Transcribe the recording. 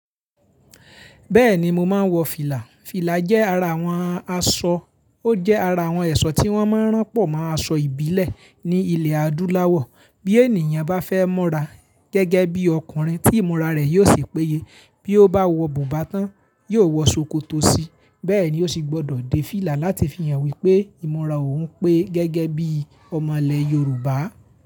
Bẹ́ẹ̀ni mo máa ń wọ fìlà. Fìlà jẹ́ ara àwọn aṣọ, ó jẹ́ ara àwọn ẹ̀ṣọ́ tí wọ́n máa ń ránpọ̀ mọ́ aṣọ ìbílẹ̀ ní ilẹ̀ adúláwọ̀. Bí ènìyàn bá fẹ́ mura gẹ́gẹ́ bí ọkùnrin tí ìmọ̀ra rẹ̀ yóò sì péye, bí ó bá wọ bùbá tán, yóò wọ ṣòkòtò síi, bẹ́ẹ̀ ni ó sì gbọ́dọ̀ dé fìlà láti fi hàn wípé ìmọ̀ra òun pé gẹ́gẹ́ bí ọmọ ilẹ̀ Yorùbá.